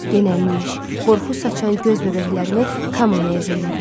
Genəlmiş, qorxu saçan göz bəbəklərini Kamanaya zillədi.